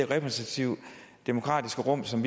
repræsentative demokratiske rum som